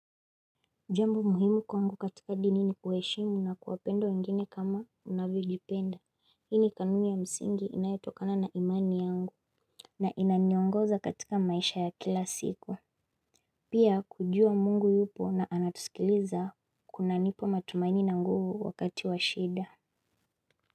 Jambu muhimu kwa ngu katika dini ni kuheshimu na kuwapenda wengine kama unavyoijipenda, ini kanumi ya msingi inayotokana na imani yangu. Na inanyongoza katika maisha ya kila siku. Pia kujua mungu yupo na anatusikiliza. Kuna nipa matumaini na nguo wakati wa shida.